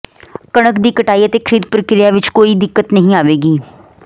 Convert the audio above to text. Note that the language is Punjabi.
ਕਣਕ ਦੀ ਕਟਾਈ ਅਤੇ ਖਰੀਦ ਪ੍ਰਕਿਰਿਆ ਵਿਚ ਕੋਈ ਦਿੱਕਤ ਨਹੀਂ ਆਵੇਗੀ